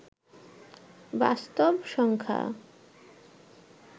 বাস্তব সংখ্যা